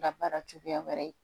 La baara cogoya wɛrɛ ye